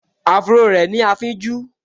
Áfúró rẹ̀ ní afínjú